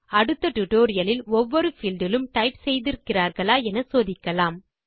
அடுத்த டியூட்டோரியல் இல் ஒவ்வொரு பீல்ட் இலும் டைப் செய்திருக்கிறார்களா என சோதிக்கலாம்